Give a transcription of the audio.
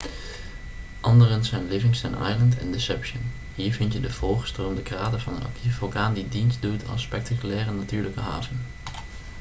anderen zijn livingston island en deception hier vind je de volgestroomde krater van een actieve vulkaan die dienstdoet als spectaculaire natuurlijke haven